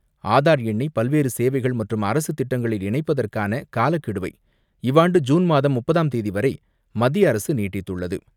ஆதார் எண்ணை பல்வேறு சேவைகள் மற்றும் அரசு திட்டங்களில் இணைப்பதற்கான காலக்கெடுவை இவ்வாண்டு ஜுன் மாதம் முப்பதாம் தேதி வரை மத்திய அரசு நீட்டித்துள்ளது.